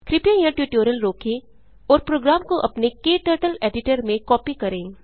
कृपया यहाँ ट्यूटोरियल रोकें और प्रोग्राम को अपने क्टर्टल एडिटर में कॉपी करें